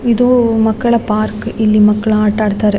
ಇದು ಮಕ್ಕಳ ಪಾರ್ಕ್ ಇಲ್ಲಿ ಮಕ್ಕಳು ಆಟ ಆಡ್ತಾರೆ.